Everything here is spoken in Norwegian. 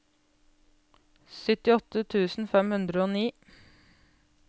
syttiåtte tusen fem hundre og ni